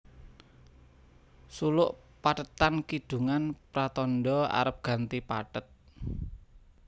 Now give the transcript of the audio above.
Suluk pathetan kidungan pratandha arep ganti pathet